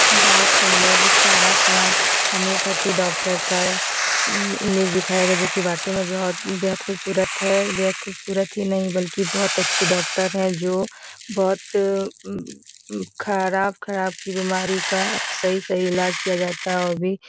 बहोत सुंदर एक प्यारा सा होम्योपैथी डॉक्टर का मम इमेज दिखाया गया जो की वाकई में बहुत बेहद खूबसूरत है बेहद खूबसूरती ही नहीं बल्कि बहुत अच्छी डॉक्टर है जो बहोत मम मम खराब-खराब की बीमारी का सही-सही इलाज किया जाता है वो भी --